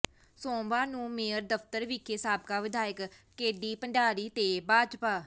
ਸੋਮਵਾਰ ਨੂੰ ਮੇਅਰ ਦਫਤਰ ਵਿਖੇ ਸਾਬਕਾ ਵਿਧਾਇਕ ਕੇਡੀ ਭੰਡਾਰੀ ਤੇ ਭਾਜਪਾ